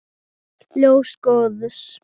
Ljós góðs.